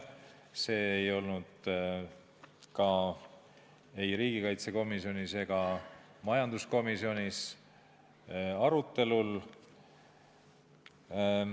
See teema ei olnud ka riigikaitsekomisjonis ega majanduskomisjonis arutelu all.